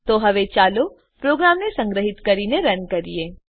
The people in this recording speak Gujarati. તો હવે ચાલો પ્રોગ્રામને સંગ્રહીત કરીને રન કરીએ